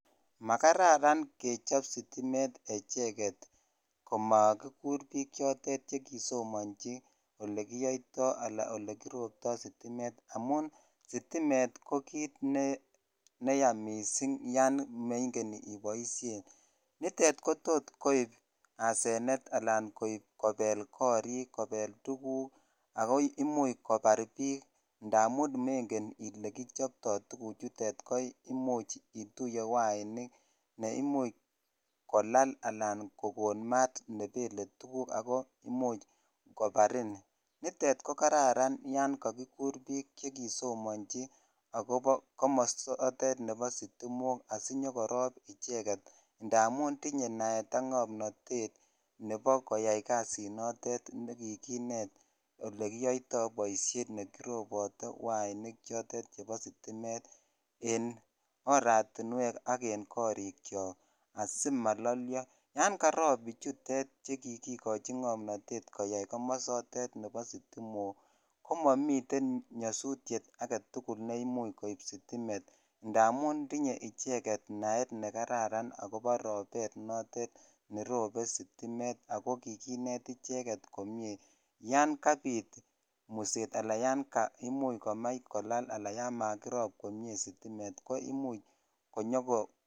Makararan kechop sitimet echeket komakikur biik chotet chekisomonchi olekiyoito alaa olekirobto sitimet amun sitimet ko kiit neya mising yoon meng'en iboishen, nitet kotot koib asenet alaan koib kobel korik kobel tukuk ak ko imuch kobar biik ndamun meng'en ilee kichopto tukuchutet ko imuch ituye wainik neimuch kolal alaan ko koon maat nebele tukuk ak ko imuch kobarin, nitet ko kararan yoon kokikur biik chekisomonchi ak kobo komosotet asinyokorob icheket ndamun tinye naet ak ng'omnonet nebo koyai kasinotet nekikinet olekiyoito boishet nekirobote wainik chotet chebo sitimet en oratinwek ak en korikyok asimololio, yoon karob bichutet chekikochi ng'omnotet koyai komosotet nebo sitimok komomiten nyosutiet aketukul neimuch koib sitimet ndamun tinye icheket naet nekararan ak kobo robet notet nerobe sitimet ak ko kikinet icheket komnye yoon kabit muset alan yoon kakimuch komach kolala alaan yoon makkirob komnye sitimet ko imuch konyoko.